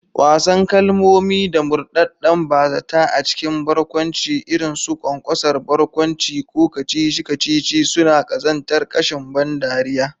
Wasan kalmomi da murɗaɗɗen ba-zata a cikin barkwanci, irin su ƙwanƙwasa barkwanci ko kacici-kacici, suna ƙazantar ƙashin ban dariya.